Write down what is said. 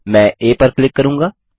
मैं आ पर क्लिक करूँगा